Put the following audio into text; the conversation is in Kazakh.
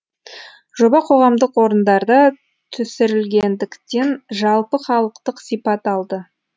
жоба қоғамдық орындарда түсірілгендіктен жалпыхалықтық сипат алды